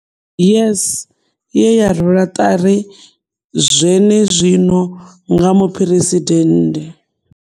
YES, ye ya rwelwa ṱari zwenezwino nga Muphuresidennde.